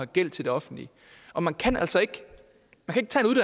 gæld til det offentlige og man kan altså ikke tage